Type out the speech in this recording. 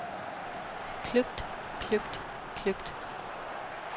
kløgt kløgt kløgt